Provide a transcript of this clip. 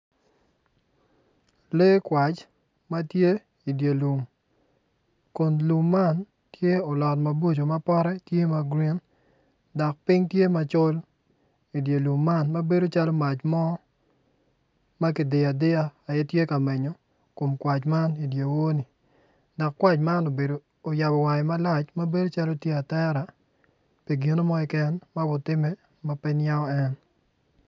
Megi kwac matye i dyer lum kun lum man tye olot mapote tye ma grin dok ping tye macol idye lum man mabedo calo mac mo makidiyo adiya matye ka menyo kom kwac man idiwor ni dok kwac moni bene oyabo wange malac mabedo calo tye atera pi gin mo keken ma obitime mape niango en.